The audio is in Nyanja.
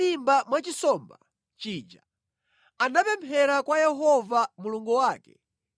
Yona ali mʼmimba mwa chinsomba chija anapemphera kwa Yehova Mulungu wake.